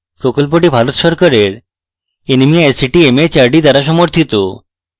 প্রকল্পটি ভারত সরকারের nmeict mhrd দ্বারা সমর্থিত